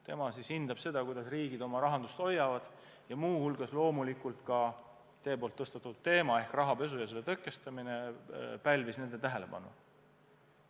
Tema hindab seda, kuidas riigid oma rahandust hoiavad, ja muu hulgas loomulikult ka teie tõstatatud teema ehk rahapesu ja selle tõkestamine pälvis nende tähelepanu.